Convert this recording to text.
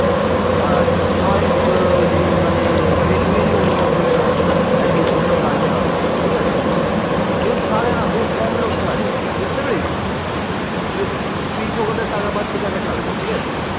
কেউ ছাড়ে না খুব কম লোক ছাড়ে বুঝতে পেরেছিস free ফ্রকটের টাকা পাচ্ছে কেন ছাড়বে ঠিক আছে